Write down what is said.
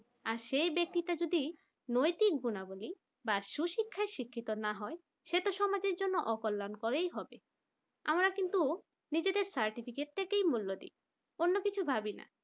সেই ব্যক্তিটা যদি নৈতিক গুণাবলী বা সুশিক্ষায় শিক্ষিত না হয় সে তো সমাজের জন্য অকল্যাণকর হবে আমরা কিন্তু নিজেদের certificate মূল্য দি অন্য কিছু ভাবি না